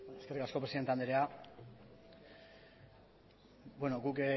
eskerrik asko presidente andrea guk